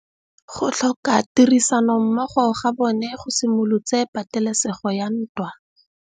Go tlhoka tirsanommogo ga bone go simolotse patêlêsêgô ya ntwa.